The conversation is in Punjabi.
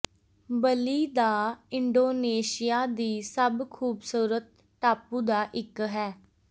ਬਲੀ ਦਾ ਇੰਡੋਨੇਸ਼ੀਆ ਦੀ ਸਭ ਖੂਬਸੂਰਤ ਟਾਪੂ ਦਾ ਇੱਕ ਹੈ